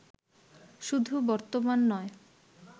শুধু বর্তমান নয়